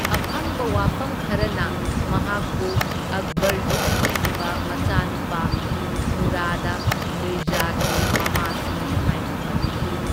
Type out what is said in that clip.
ꯑꯐꯪꯕ ꯋꯥꯐꯝ ꯈꯔꯅ ꯃꯍꯥꯛꯄꯨ ꯑꯛꯕꯔꯒꯤ ꯑꯅꯤꯁꯨꯕ ꯃꯆꯥꯅꯨꯄꯥ ꯃꯨꯔꯥꯗ ꯃꯤꯔꯖꯥꯒꯤ ꯃꯃꯥꯁꯨꯅꯤ ꯍꯥꯢꯅ ꯄꯟꯈꯤ꯫